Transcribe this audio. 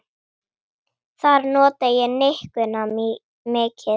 Þar nota ég nikkuna mikið.